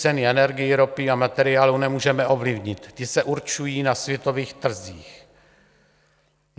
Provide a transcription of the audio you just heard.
Ceny energií, ropy a materiálu nemůžeme ovlivnit, ty se určují na světových trzích.